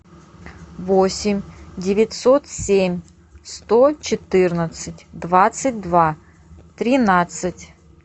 восемь девятьсот семь сто четырнадцать двадцать два тринадцать